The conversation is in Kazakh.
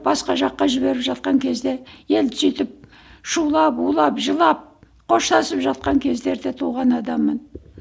басқа жаққа жіберіп жатқан кезде енді сөйтіп шулап улап жылап қоштасып жатқан кездерде туған адаммын